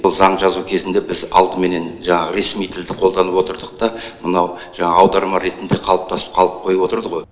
бұл заң жазу кезінде біз алдыменен жаңағы ресми тілді қолданып отырдық та мынау жаңағы аударма ретінде қалыптасып қалып қойып отырды